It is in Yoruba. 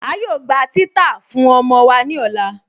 A yóò gbà titàá fún ọmọ wa ni ọlá.